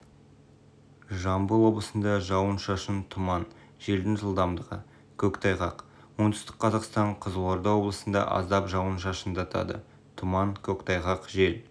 жамбыл облысында жауын-шашын тұман желдің жылдамдығы көктайғақ оңтүстік қазақстан қызылорда облысында аздап жауын-шашындатады тұман көктайғақ жел